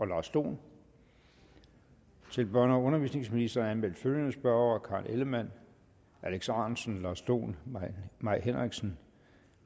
lars dohn til børne og undervisningsministeren er anmeldt følgende spørgere karen ellemann alex ahrendtsen lars dohn mai henriksen